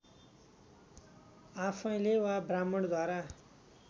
आफैँले वा ब्राह्मणद्वारा